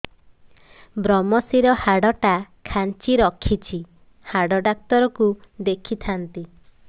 ଵ୍ରମଶିର ହାଡ଼ ଟା ଖାନ୍ଚି ରଖିଛି ହାଡ଼ ଡାକ୍ତର କୁ ଦେଖିଥାନ୍ତି